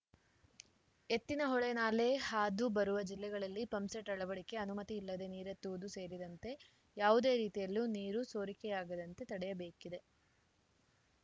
ಎತ್ತಿನಹೊಳೆ ನಾಲೆ ಹಾದು ಬರುವ ಜಿಲ್ಲೆಗಳಲ್ಲಿ ಪಂಪ್‌ಸೆಟ್‌ ಅಳವಡಿಕೆ ಅನುಮತಿ ಇಲ್ಲದೆ ನೀರೆತ್ತುವುದು ಸೇರಿದಂತೆ ಯಾವುದೇ ರೀತಿಯಲ್ಲೂ ನೀರು ಸೋರಿಕೆಯಾಗದಂತೆ ತಡೆಯಬೇಕಿದೆ